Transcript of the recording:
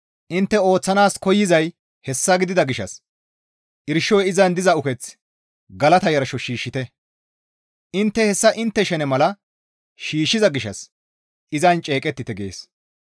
Intte ooththanaas koyzay hessa gidida gishshas irshoy izan diza uketh galata yarsho shiishshite; intte hessa intte shene mala shiishshiza gishshas izan ceeqettite» gees.